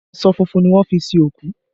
Aṣọ funfun ni wọ́n fi sin òkú